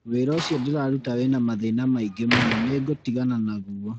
Wĩra ũcio ndĩraruta wĩna mathĩna maingĩ mũno nĩngũtigana naguo